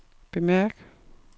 bemærk